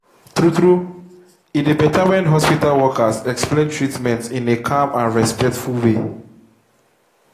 true true e dey better when hospital workers explain treatment in a calm and respectful way.